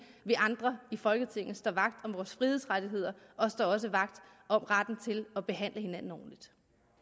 vi andre i folketinget står vagt om vores frihedsrettigheder og står også vagt om retten til at behandle hinanden ordentligt